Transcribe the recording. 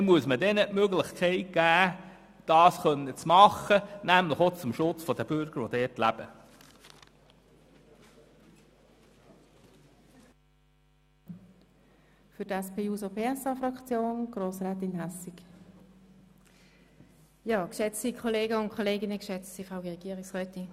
Also muss man ihnen die Möglichkeit geben, entsprechende Vorkehrungen zu treffen, dies nämlich auch zum Schutz der Bürger, die dort leben.